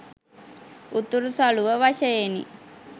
උතුරු සළුව වශයෙනි.